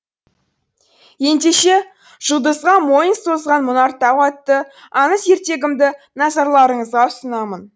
ендеше жұлдызға мойын созған мұнар тау атты аңыз ертегімді назарларыңызға ұсынамын